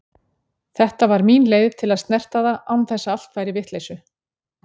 Þetta var mín leið til að snerta það án þess að allt færi í vitleysu.